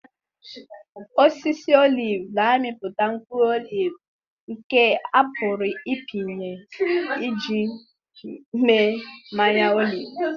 Osisi oliv na-amịpụta mkpụrụ oliv nke a pụrụ ịpịnye iji mee mmanụ olive.